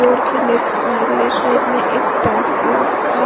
Floor की left left side में एक टाटो का।